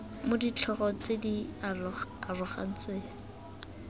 mo ditlhogo tse di arogantsweng